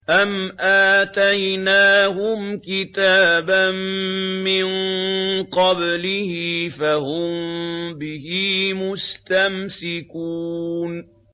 أَمْ آتَيْنَاهُمْ كِتَابًا مِّن قَبْلِهِ فَهُم بِهِ مُسْتَمْسِكُونَ